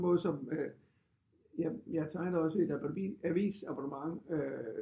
Måde øh som jeg tegnede også et avisabonnement